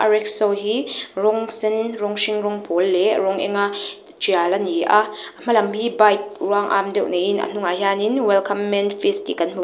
rickshaw hi rawng sen rawng hring rawng pawl leh rawng eng a tial ani a a hma lam hi bike ruang am deuh niin a hnungah hian welcome man fish tih kan hmu--